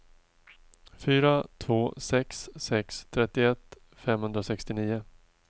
fyra två sex sex trettioett femhundrasextionio